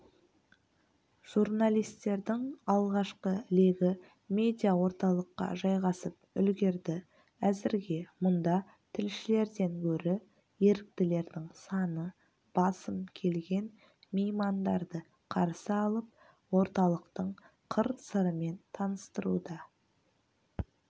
журналистердің алғашқы легі медиаорталыққа жайғасып үлгерді әзірге мұнда тілшілерден гөрі еріктілердің саны басым келген меймандарды қарсы алып орталықтың қыр-сырымен таныстыруда